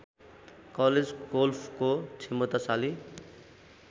college गोल्फको क्षमताशाली